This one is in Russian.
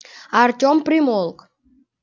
артём примолк